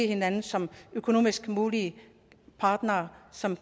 hinanden som økonomisk mulige partnere som